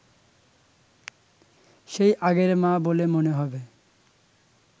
সেই আগের মা বলে মনে হবে